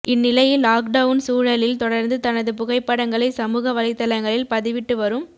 இந்நிலையில் லாக்டவுன் சூழலில் தொடர்ந்து தனது புகைப்படங்களை சமூக வலைதளங்களில் பதிவிட்டு வரும்